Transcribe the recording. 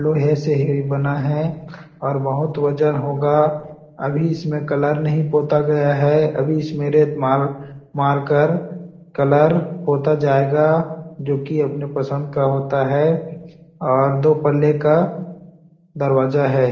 लोहे से ही बना है और बहुत वजन होगा अभी इसमें कलर नहीं पोता गया है अभी इसमें रेत माल मारकर कलर पोता जाएगा जोकि अपनी पसंद का होता है और दो पल्ले का दरवाजा हैं। .